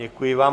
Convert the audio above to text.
Děkuji vám.